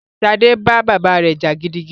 Ṣadé bá bàbá rẹ jà gidigidi